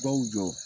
Baw jɔ